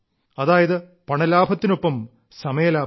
അതായത് പണലാഭത്തിനൊപ്പം സമയലാഭവും